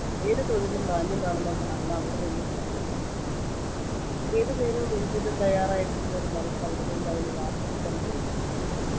ഏതു തൊഴിലും മാന്യമാണെന്ന ധാരണ അവിടെനിന്നും അവൻ നേടിയിരുന്നു ഏതുനേരവും എന്തിനും തയ്യാറായിരിക്കുന്ന ഒരു മനസ്സ് അവിടെനിന്ന് അവന് വാർത്തെടുക്കാൻ കഴിഞ്ഞിരുന്നു